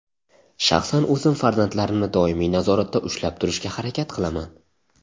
Shaxsan o‘zim farzandlarimni doimiy nazoratda ushlab turishga harakat qilaman.